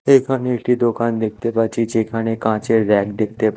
এইখানে একটি দোকান দেখতে পাচ্ছি যেইখানে কাঁচের ব়্যাক দেখতে পা--